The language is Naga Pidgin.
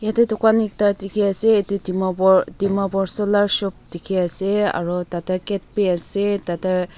etu dukan ekta dikhi ase etu Dimapur Dimapur solar shop dikhi ase aru ta teh gate bhi ase ta teh--